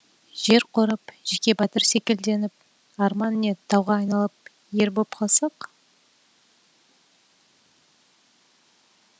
жер қорып жеке батыр секілденіп арман не тауға айналып ер боп қалсақ